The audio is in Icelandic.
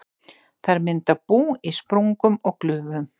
Þær mynda bú í sprungum og glufum.